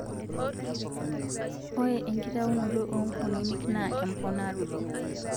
Ore inkitaunoto oo nkukunik naa emponaroto